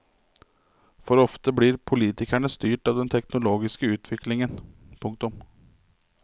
For ofte blir politikerne styrt av den teknologiske utviklingen. punktum